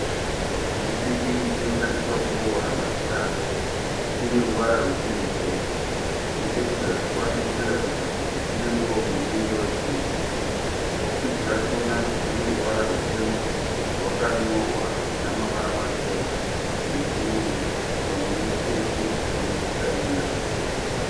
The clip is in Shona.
Chipikiri chinoshandiswa kuboora magirazi. Chine ruvara rwesirivheri nechekuzasi chacho chinoratidza kuti chine muromo unenge wepfumo. Bhokisi rachona rine ruvara rutema rwakanyorwa namavara machena nechirungu pamwe chete nechichayina.